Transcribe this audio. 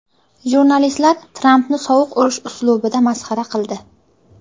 Jurnalistlar Trampni sovuq urush uslubida masxara qildi.